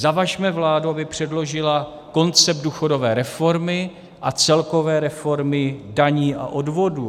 Zavažme vládu, aby předložila koncept důchodové reformy a celkové reformy daní a odvodů.